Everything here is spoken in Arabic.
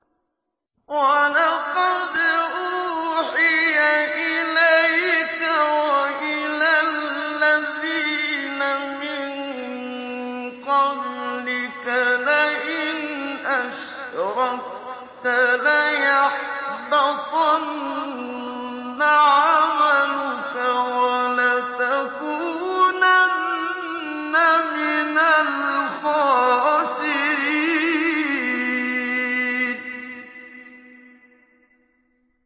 وَلَقَدْ أُوحِيَ إِلَيْكَ وَإِلَى الَّذِينَ مِن قَبْلِكَ لَئِنْ أَشْرَكْتَ لَيَحْبَطَنَّ عَمَلُكَ وَلَتَكُونَنَّ مِنَ الْخَاسِرِينَ